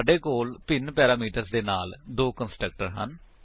ਸਾਡੇ ਕੋਲ ਭਿੰਨ ਪੈਰਾਮੀਟਰ ਦੇ ਨਾਲ ਦੋ ਕੰਸਟਰਕਟਰ ਹਨ